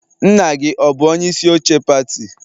Nna gị ọ bụ onye isi oche pati?